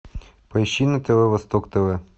поищи на тв восток тв